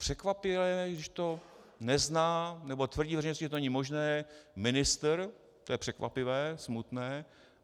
Překvapivé, když to nezná nebo tvrdí veřejnosti, že to není možné, ministr, to je překvapivé, smutné.